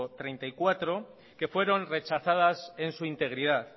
treinta y cuatro que fueron rechazadas en su integridad